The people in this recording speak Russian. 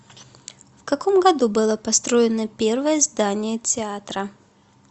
в каком году было построено первое здание театра